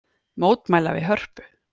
Mótmæla við Hörpu